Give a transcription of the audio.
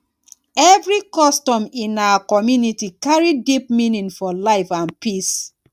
every custom in our community carry deep meaning for life and peace.